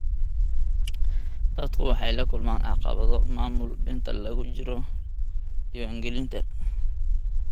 Dadku waxay la kulmaan caqabado maamul inta lagu jiro diiwaangelinta.